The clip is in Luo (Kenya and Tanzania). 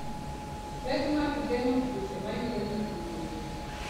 Pek mag geng'o tuoche mayudo nyithi gwen.